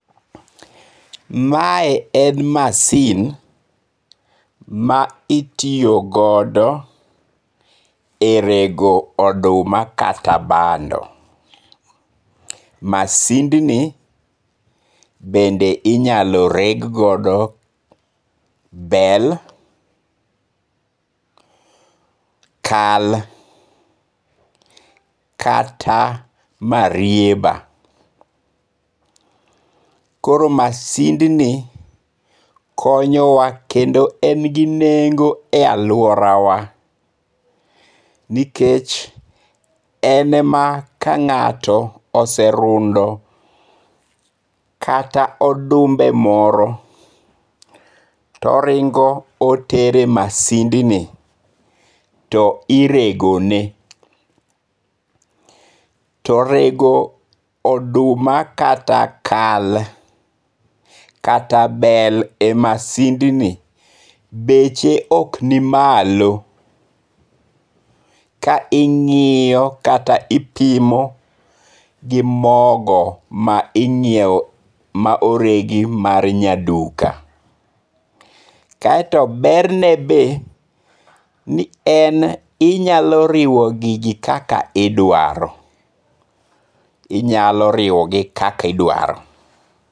Mae en masin ma itiyo godo e rego oduma kata bando, masindni be inyalo reg godo bel, kal kata marieba, koro masindni konyowa kendo en gi nengo e aluorawa, nikech enema ka nga'to oserundo kata odumbe moro to oringo' otere e masindni to iregone to orego oduma kata kal kata bel e masindni, beche oknimalo ka ingi'yo kata ipimo gi mogo ma inyiewo ma oregi mar nyaduka, kaeto berne be ni en inyalo riwo gigi kaka idwaro, inyalo riwogi kaka idwaro.